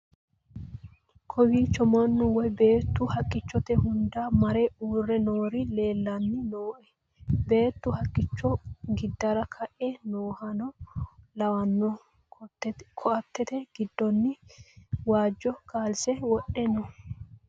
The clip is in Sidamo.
kowiicho mannu woy beettu haqqichote hunda mare uurre noori leelanni nooe beetu haqqicho giddara kae noohano lawanno koatete gidoonni waajjo kaalise wodhe no